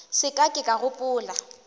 se ka ke ka gopola